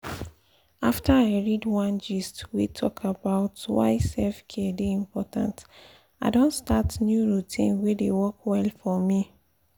after i read one gist wey talk about why self-care dey important i don start new routine wey dey work well for me.